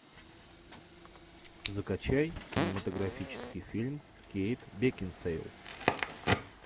закачай кинематографический фильм кейт бекинсейл